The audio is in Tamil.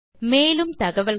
மேலும் தகவல்களுக்கு